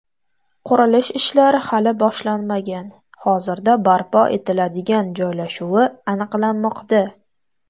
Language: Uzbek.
Qurilish ishlari hali boshlanmagan, hozirda barpo etiladigan joylashuvi aniqlanmoqda.